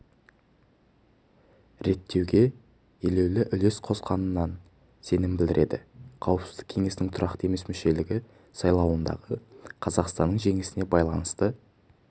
реттеуге елеулі үлес қосатынына сенім білдірді қауіпсіздік кеңесінің тұрақты емес мүшелігі сайлауындағы қазақстанның жеңісіне байланысты